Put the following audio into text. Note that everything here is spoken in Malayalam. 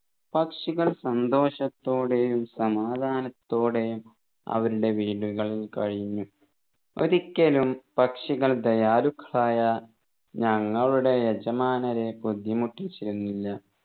പക്ഷികൾ സന്തോഷത്തോടെയും സമാധാനത്തോടെയും അവരുടെ വീടുകളിൽ കഴിഞ്ഞു ഒരിക്കലും പക്ഷികൾ ദയാലുക്കളായ ഞങ്ങളുടെ യജമാനരെ ബുദ്ധിമുട്ടിച്ചിരുന്നില്ല